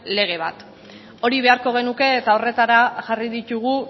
lege bat hori beharko genuke eta horretara jarri ditugu